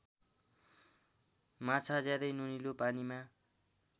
माछा ज्यादै नुनिलो पानीमा